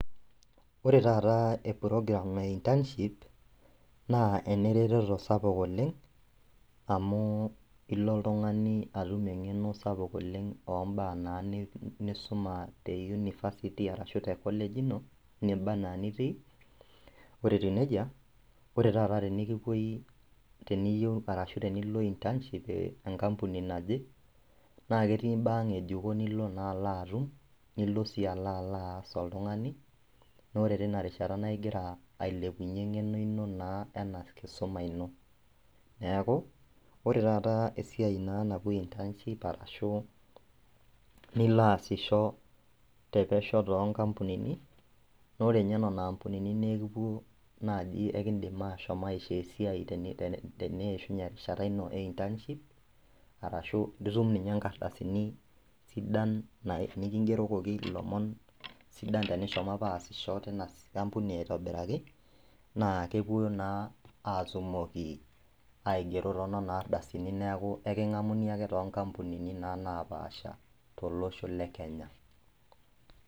Ore taataa eprogram naa internship naa eneretoto sapuk oleng' amuu ilo oltung'ani atum eng'eno sapuk oleng' ombaa naa nisuma te university arashu te  college ino nibaa anaa nitii. Ore etiu neija ore tata tinikipuoi teniyou arashu tenilo internship eh enkampuni naje naakeetii imbaa ng'ejuko nilo naa alaatum nilo sii alaaloas oltung'ani naore tinarishata naigira ailepunye eng'eno ino naa ena kisoma ino. Neaku, ore tata esiai naa napuoi  internship arashu niloaasisho tepesho toonkampunini naore ninye nena ampunini naikipuo naji ekindim ashom aishoo esiai teniishunye erishata ino e internship arashu nitum ninye inkardasini sidan nikingerokoki ilomon sidan tenishomo apa aasisho tina ampuni aitobiraki naakepuo naa aatumoki aigero toonona ardasini neaku eking'amuni ake toonkampunini naa naapasha tolosho le Kenya.